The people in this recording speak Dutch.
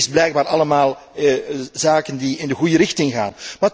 Dit zijn blijkbaar allemaal zaken die in de goede richting gaan.